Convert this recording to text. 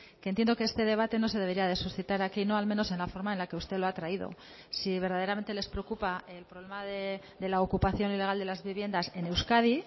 que entiendo que este debate no se debería de suscitar aquí no al menos en la forma en la que usted lo ha traído si verdaderamente les preocupa el problema de la ocupación ilegal de las viviendas en euskadi